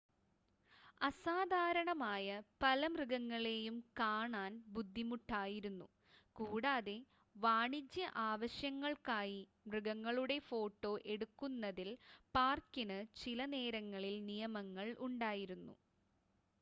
അസാധാരണമായ പല മൃഗങ്ങളെയും കാണാൻ ബുദ്ധിമുട്ടായിരുന്നു കൂടാതെ വാണിജ്യ ആവശ്യങ്ങൾക്കായി മൃഗങ്ങളുടെ ഫോട്ടോ എടുക്കുന്നതിൽ പാർക്കിന് ചിലനേരങ്ങളിൽ നിയമങ്ങൾ ഉണ്ടായിരുന്നു